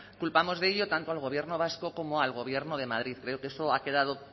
culpamos de ello tanto al gobierno vasco como al gobierno de madrid creo que eso ha quedado